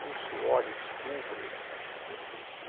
Fusso, olho, descubro, et cetera, né.